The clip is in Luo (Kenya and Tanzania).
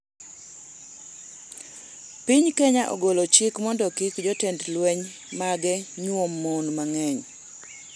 Piny Kenya ogolo chik mondo kik jotend lweny mage nyuom mon mang'eny